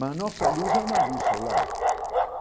Mas a nossa luz é uma luz solar.